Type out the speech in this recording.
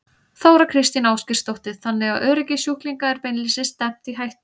Þóra Kristín Ásgeirsdóttir: Þannig að öryggi sjúklinga er beinlínis stefnt í hættu?